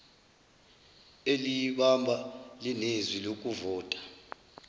eliyibamba linezwi lokuvota